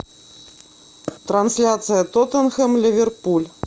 трансляция тоттенхэм ливерпуль